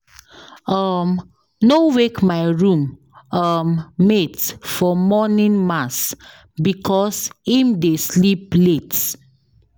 um No wake my room um mate for morning mass because im dey sleep late.